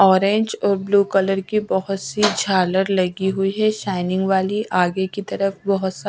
orange और blue colour की बहुत सी झालर लगी हुई है शाइनिंग वाली आगे की तरफ बहुत सा --